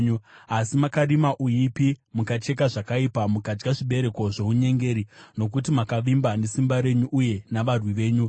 Asi makarima uipi, mukacheka zvakaipa, makadya zvibereko zvounyengeri, nokuti makavimba nesimba renyu uye navarwi venyu vakawanda,